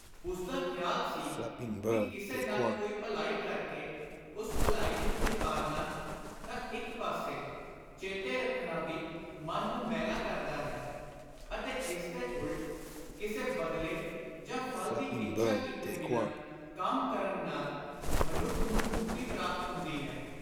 ਉਸਦਾ ਖ਼ਿਆਲ ਸੀ ਕਿ ਕਿਸੇ ਨਾਲ ਕੋਈ ਭਲਾਈ ਕਰ ਕੇ ਉਸ ਭਲਾਈ ਨੂੰ ਚਿਤਾਰਨਾ ਤਾਂ ਇਕ ਪਾਸੇ, ਚੇਤੇ ਰੱਖਣਾ ਵੀ ਮਨ ਨੂੰ ਮੈਲਾ ਕਰਦਾ ਹੈ; ਅਤੇ (ਇਸਦੇ ਉਲਟ) ਕਿਸੇ ਬਦਲੇ ਜਾਂ ਫਲ ਦੀ ਇੱਛਾ ਕੀਤੇ ਬਿਨਾਂ ਕੰਮ ਕਰਨ ਨਾਲ ਮਨੁੱਖ ਨੂੰ ਮੁਕਤੀ ਪ੍ਰਾਪਤ ਹੁੰਦੀ ਹੈ।